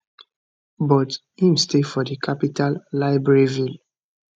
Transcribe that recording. but im stay for di capital libreville